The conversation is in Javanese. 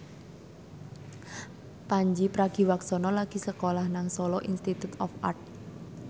Pandji Pragiwaksono lagi sekolah nang Solo Institute of Art